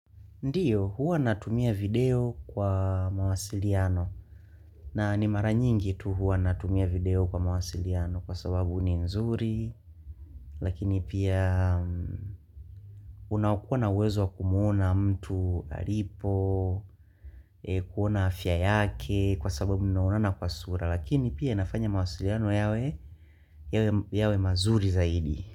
Ndiyo, huwa natumia video kwa mawasiliano na ni mara nyingi tu huwa natumia video kwa mawasiliano kwa sababu ni nzuri lakini pia unaokuwa na uwezo wa kumuona mtu alipo, kuona afya yake kwa sababu mnaonana kwa sura lakini pia inafanya mawasiliano yawe mazuri zaidi.